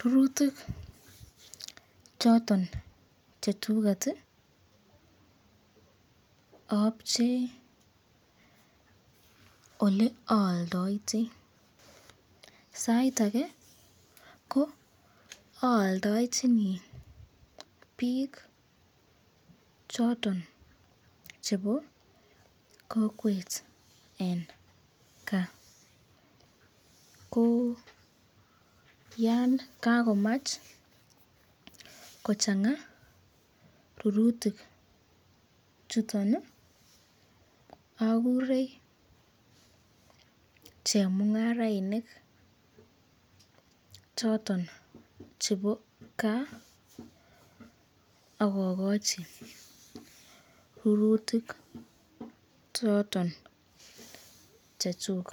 rurutik choton chechuket apche oleaaldate, sait ake ko aaldachini bik choton chebo kokwet eng kaa ko Yan kakomach kochsnga rurutik choton Akure chemungarainik choton chebo kaa akakachi rurutik choton chechuk,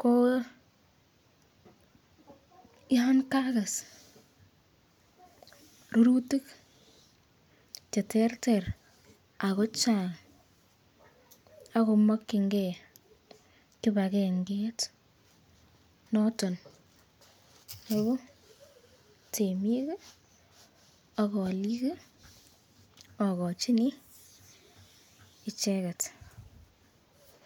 ko Yan kakes rurutik cheterter ako chang akomakyinke kibakendet not on nebo temik ak alikua akochino icheket.